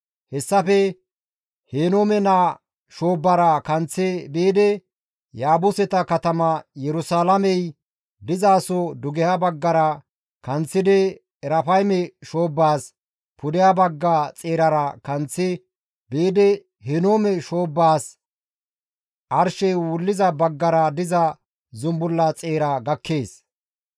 Hessafe Henoome naa shoobbara kanththi biidi Yaabuseta katama Yerusalaamey dizaso dugeha baggara kanththidi Erafayme shoobbaas pudeha bagga xeerara kanththi biidi Henoome shoobbaas arshey wulliza baggara diza zumbulla xeera gakkees.